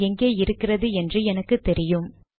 அது எங்கே இருக்கிறது என்று எனக்கு தெரியும்